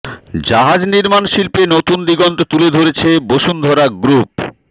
জাহাজ নির্মাণ শিল্পে নতুন দিগন্ত তুলে ধরেছে বসুন্ধরা গ্রুপ